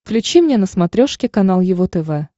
включи мне на смотрешке канал его тв